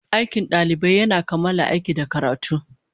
Aikin ɗalibai yana kammala aiki da karatu.